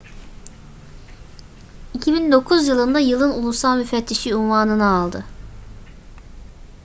2009 yılında yılın ulusal müfettişi unvanını aldı